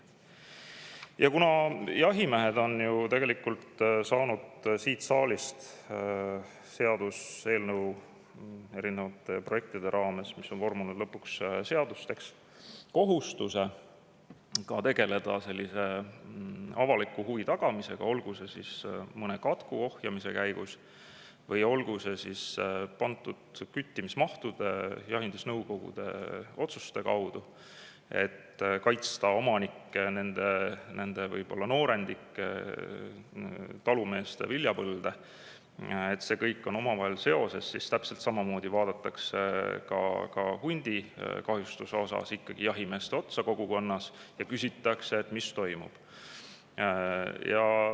Ja kuna jahimehed on ju tegelikult saanud siit saalist tänu seaduseelnõu erinevatele projektidele, mis on vormunud lõpuks seadusteks, kohustuse tagada ka avaliku huvi, olgu see siis mõne katku või küttimismahtude ja jahindusnõukogude otsuste, et kaitsta omanikke, nende noorendikke, talumeeste viljapõlde – see kõik on omavahel seoses –, siis täpselt samamoodi vaadatakse hundikahjustuse puhul kogukonnas ikkagi jahimeeste otsa ja küsitakse, et mis toimub.